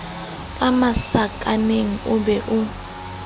ka masakaneng o be o